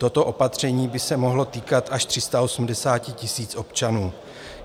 Toto opatření by se mohlo týkat až 380 000 občanů.